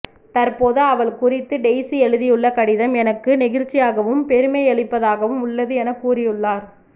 தற்போது அவள் குறித்து டெய்சி எழுதியுள்ள கடிதம் எனக்கு நெகிழ்ச்சியாகவும் பெருமையளிப்பதாகவும் உள்ளது என கூறியுள்ளார்